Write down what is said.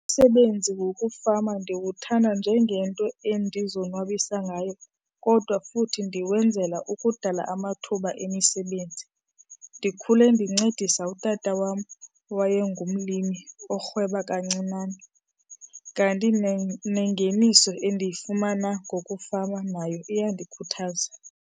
Umsebenzi wokufama ndiwuthanda njengento endizonwabisa ngayo kodwa futhi ndiwenzela ukudala amathuba emisebenzi. Ndikhule ndincedisa utata wam owayengumlimi orhweba kancinane. Kanti nengeniso endiyifumana ngokufama nayo iyandikhuthaza.